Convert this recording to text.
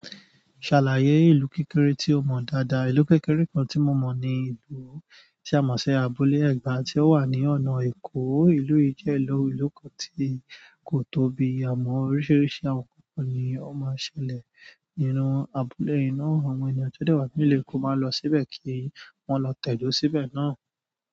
Ṣàlàyé ìlú kékeré tí o mọ̀ dáadáa. Ìlú kékeré kan tí mo mọ̀ ní ìlú ti a mọ̀ sí abúlé ẹgba ti o wa ni ọ̀nà Èkó. Ìlú yi jẹ ìlú kan tí ko tóbi àmọ oríṣiríṣi àwọn nkan ni o ma n ṣẹlẹ̀. Nínú abúlé yìí náà àwọn ènìyàn tí o dé wá nílu Eko ma lo síbẹ̀ kí wọn lọ tẹdo síbẹ̀ náà.